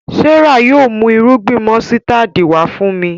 Serah yóò mú Irúgbìn músítádì wá fún mí.